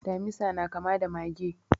Damisa na kama da mage.